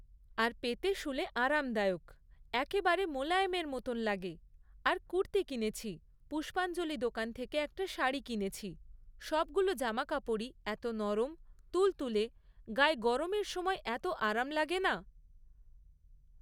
আর পেতে শুলে আরামদায়ক, একেবারে মোলায়েমের মতন লাগে। আর কুর্তি কিনেছি, পুষ্পাঞ্জলি দোকান থেকে একটা শাড়ি কিনেছি, সবগুলো জামাকাপড়ই এত নরম, তুলতুলে, গায়ে গরমের সময় এত আরাম লাগে না...